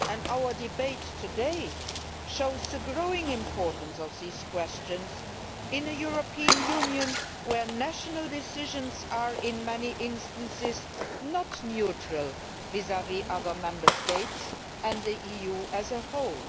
Our debate today shows the growing importance of these questions in a European Union where national decisions are in many instances not neutral vis vis other Member States and the EU as a whole.